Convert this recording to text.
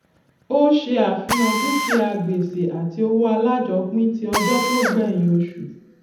ó ṣe àfihàn dúkìá gbèsè àti owó alájọpín tí ọjọ tó gbẹyìn oṣù